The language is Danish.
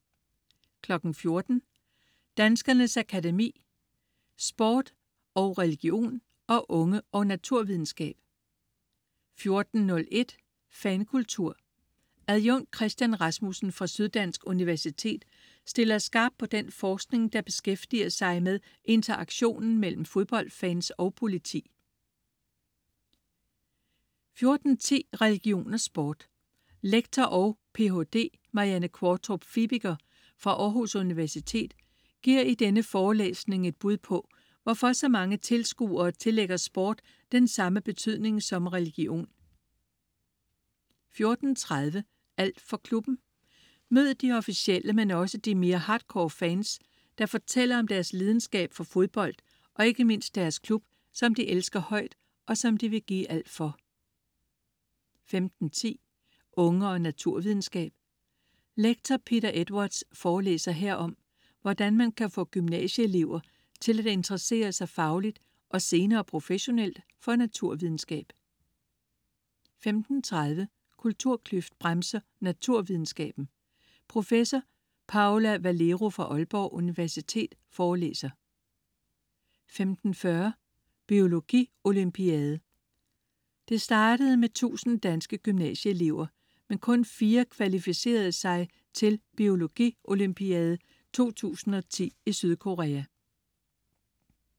14.00 Danskernes Akademi: Sport og religion & Unge og naturvidenskab 14.01 Fankultur. Adjunkt Kristian Rasmussen fra Syddansk Universitet stiller skarpt på den forskning, der beskæftiger sig med interaktionen mellem fodboldfans og politi 14.10 Religion og sport. Lektor og ph.d. Marianne Qvortrup Fibiger fra Aarhus Universitet giver i denne forelæsning et bud på, hvorfor så mange tilskuere tillægger sport den samme betydning som religion 14.30 Alt for klubben. Mød de officielle, men også de mere hardcore fans, der fortæller om deres lidenskab for fodbold og ikke mindst deres klub, som de elsker højt, og som de vil give alt for 15.10 Unge og naturvidenskab. Lektor Peter Eduards forelæser her om, hvordan man kan få gymnasieelever til at interessere sig fagligt og senere professionelt for naturvidenskab 15.30 Kulturkløft bremser naturvidenskaben. Professor Paola Valero fra Aalborg Universitet forelæser 15.40 Biologi Olympiade. Det startede med 1000 danske gymnasieelever, men kun fire kvalificerede sig til Biologi Olympiade 2010 i Sydkorea